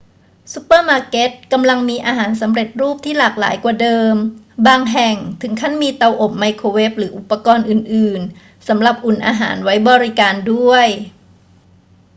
ซูเปอร์มาร์เก็ตกำลังมีอาหารสำเร็จรูปที่หลากหลายกว่าเดิม บางแห่งถึงขั้นมีเตาอบไมโครเวฟหรืออุปกรณ์อื่น ๆ สำหรับอุ่นอาหารไว้บริการด้วย